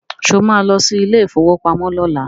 Sọ ma lọ sí ilé ìfowópamọ́ lọ́la?